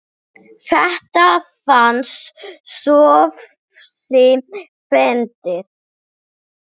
Þetta fannst Sófusi fyndið.